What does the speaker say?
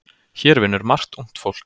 Hér vinnur margt ungt fólk.